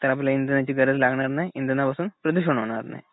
तर आपल्याला इंधनाची गरज लागणार नाही, इंधनापासून प्रदूषण होणार नाही.